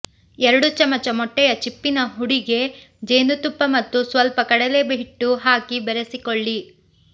ಎರಡು ಚಮಚ ಮೊಟ್ಟೆಯ ಚಿಪ್ಪಿನ ಹುಡಿಗೆ ಜೇನುತುಪ್ಪ ಮತ್ತು ಸ್ವಲ್ಪ ಕಡಲೆ ಹಿಟ್ಟು ಹಾಕಿ ಬೆರೆಸಿಕೊಳ್ಳಿ